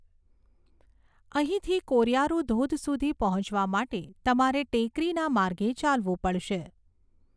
અહીંથી કોરિયારુ ધોધ સુધી પહોંચવા માટે તમારે ટેકરીના માર્ગે ચાલવું પડશે.